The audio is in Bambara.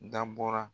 Dabɔra